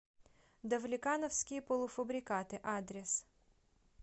давлекановские полуфабрикаты адрес